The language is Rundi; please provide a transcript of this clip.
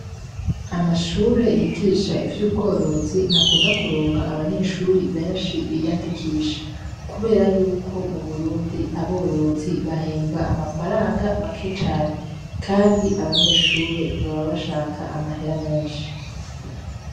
Amashure y'igisha ivyubworozi ntakunda kuronka abanyeshuri benshi biyandikisha, kubera yuko m'uburundi aborozi bahembwa amafaranga make cane. Kandi abanyeshuri baba bashaka amahera menshi.